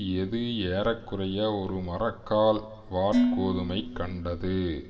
எது ஏற குறைய ஒரு மரக்கால் வாற்கோதுமை கண்டது